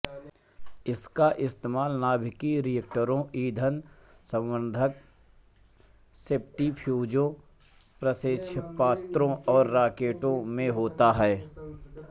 इसका इस्तेमाल नाभिकीय रिएक्टरों ईंधन संवर्द्धन सेंट्रीफ्यूजों प्रक्षेपास्त्रों और रॉकेटों में होता है